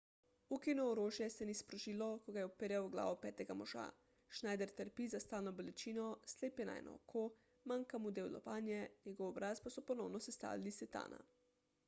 ukino orožje se ni sprožilo ko ga je uperjal v glavo petega moža schneider trpi za stalno bolečino slep je na eno oko manjka mu del lobanje njegov obraz pa so ponovno sestavili iz titana